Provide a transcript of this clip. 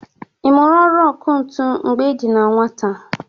I mụrụ ọrụ ọkụ ntụ mgbe ị dị na nwata?